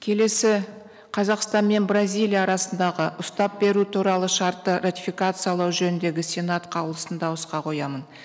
келесі қазақстан мен бразилия арасындағы ұстап беру туралы шартты ратификациялау жөніндегі сенат қаулысын дауысқа қоямын